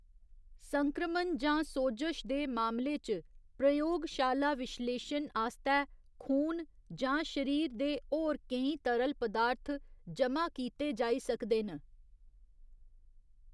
संक्रमण जां सोजश दे मामले च, प्रयोगशाला विश्लेशन आस्तै खून जां शरीर दे होर केईं तरल पदार्थ जमा कीते जाई सकदे न।